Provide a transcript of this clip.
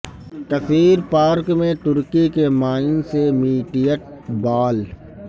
کثیر پارک میں ترکی کے مائن سے میٹیٹ بال